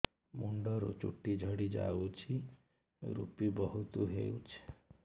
ମୁଣ୍ଡରୁ ଚୁଟି ଝଡି ଯାଉଛି ଋପି ବହୁତ ହେଉଛି